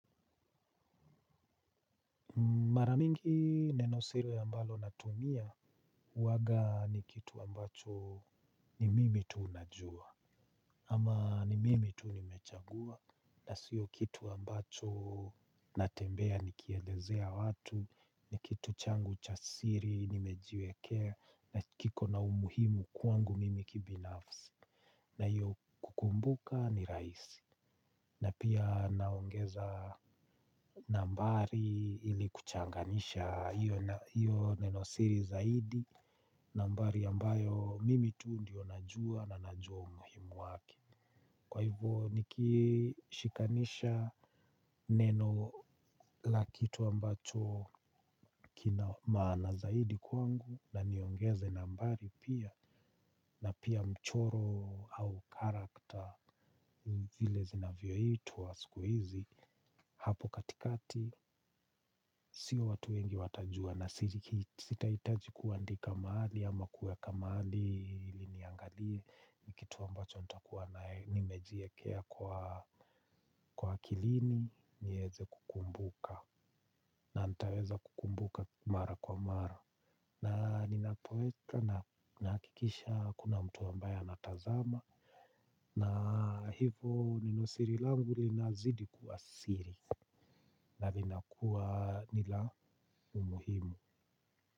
Maramingi nenosiri ambalo natumia uwaga ni kitu ambacho ni mimi tunajua ama ni mimi tunimechagua na sio kitu ambacho natembea nikieleezea watu ni kitu changu chasiri nimejiwekea na kiko na umuhimu kwangu mimi kibinafsi na hiyo kukumbuka ni rahisi. Na pia naongeza nambari ili kuchanganyanyisha iyo neno siri zaidi. Nambari ambayo mimi tu ndio najua na najua umuhimu wake. Kwa hivyo nikishikanisha neno lakitu ambacho kina maana zaidi kwangu na niongeze nambari pia na pia mchoro au character zile zinavyoitwa siku hizi hapo katikati siyo watu wengi watajua na sitaitaji kuandika mahali ama kuweka maali liniangalie nikituwa mbacho nita kuwa nae nimejiekea kwa kilini nyeze kukumbuka na nitaweza kukumbuka mara kwa mara na ninapoweka na nahakikisha hakuna mtu ambae a natazama na hivo nenosiri langu lina zidi kuwa siri. Na vinakuwa nila umuhimu.